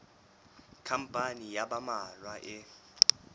khampani ya ba mmalwa e